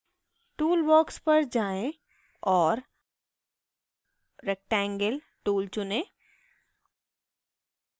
tool box पर जाएँ और rectangle tool चुनें